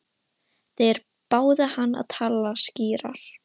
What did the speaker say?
Þeir báðu hann að tala skýrar.